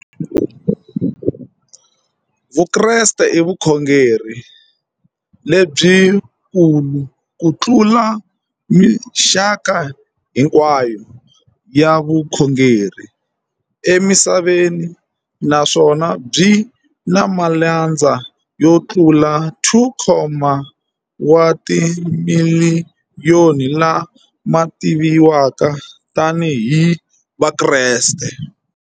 Vukreste i vukhongeri lebyi kulu kutlula mixaka hinkwayo ya vukhongeri emisaveni, naswona byi na malandza yo tlula 2. wa timiliyoni, la ma tiviwaka tani hi Vakreste.